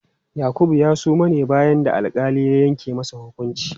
Yakubu ya suma ne bayan da alƙali ya yanke masa hukunci.